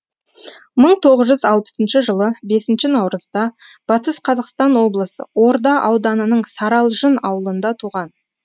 мың тоғыз жүз алпысыншы жылы бесінші наурызда батыс қазақстан облысы орда ауданының саралжын ауылында туған